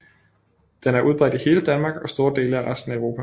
Den er udbredt i hele Danmark og store dele af resten af Europa